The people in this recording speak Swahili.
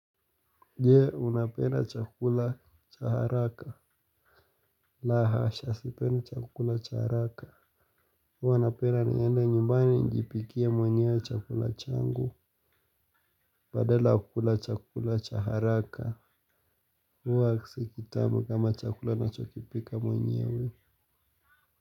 Jee, unapenda chakula cha haraka. La hasha sipendi chakula cha haraka. Huwa napenda niende nyumbani nijipikie mwenyewe chakula changu. Badala ya kula chakula cha haraka. Huwa si kitamu kama chakula nachokipika mwenyewe.